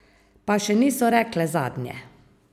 Pa še niso rekle zadnje.